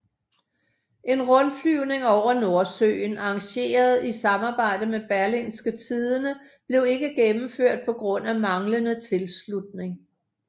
En rundflyvning over Nordsøen arrangeret i samarbejde med Berlingske Tidende blev ikke gennemført på grund af manglede tilslutning